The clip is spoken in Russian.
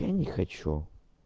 я не хочу